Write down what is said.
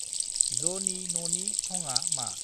जनि ननि थंआ मा?